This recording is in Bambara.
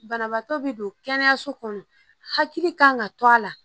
Banabaatɔ be don kɛnɛyaso kɔnɔ hakili kan ŋa to a la